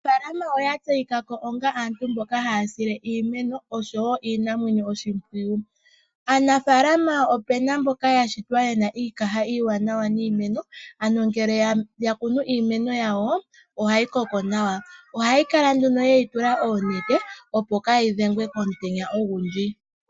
Aanafalama oya tseyika ko oonga aantu mboka haya sile iimeno osho wo iinamwenyo oshimpwiyu. Aanafalama opena mboka yashitwa yena iikaha iiwanawa niimeno ano ngele ya kunu iimeno yawo, ohayi koko nawa ohaya kala nduno yeyi tula oonete opo kaayi dhengwe komutenya ogundji.